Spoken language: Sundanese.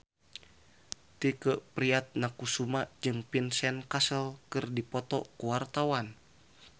Tike Priatnakusuma jeung Vincent Cassel keur dipoto ku wartawan